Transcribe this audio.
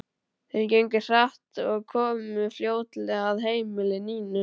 Þeir gengu hratt og komu fljótlega að heimili Nínu.